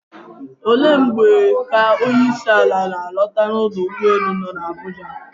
Olee mgbe ka onyeisiala na-alọta n'ọdọ ụgbọelu nọ n'Abuja?